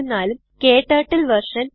ഉം ക്ടർട്ടിൽ വെർഷൻ